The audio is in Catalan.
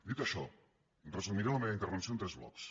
dit això resumiré la meva intervenció en tres blocs